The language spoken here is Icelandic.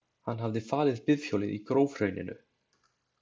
Hann hafði falið bifhjólið í grófhrauninu.